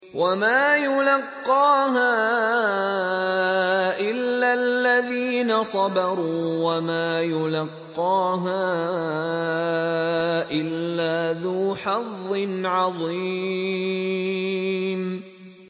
وَمَا يُلَقَّاهَا إِلَّا الَّذِينَ صَبَرُوا وَمَا يُلَقَّاهَا إِلَّا ذُو حَظٍّ عَظِيمٍ